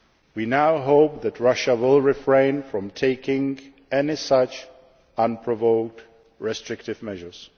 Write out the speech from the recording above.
unfounded. We now hope that Russia will refrain from taking any such unprovoked, restrictive